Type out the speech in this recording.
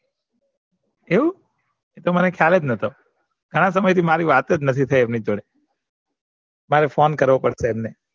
આવું તો મને ખ્યાલ જ નતો ઘણા સમય થી મારી વાતજ નથી થઇ સારું phone કરવો પડશે એમને